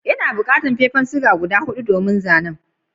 N'na bukatan fefan siga guda hudu domin zanen.